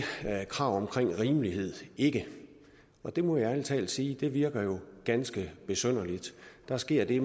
krav om rimelighed ikke og det må jeg ærlig talt sige virker ganske besynderligt der sker det